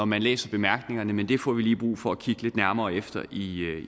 man læser bemærkningerne men det får vi brug for at kigge lidt nærmere efter i